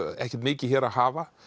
ekkert mikið hér að hafa